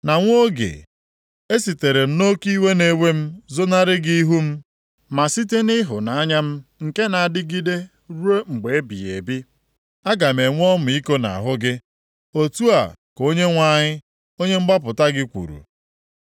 Na nwa oge, esitere m nʼoke iwe na-ewe m zonarị gị ihu m, ma site nʼịhụnanya m nke na-adịgide ruo mgbe ebighị ebi, aga m enwe ọmịiko nʼahụ gị.” Otu a ka Onyenwe anyị, onye mgbapụta gị kwuru.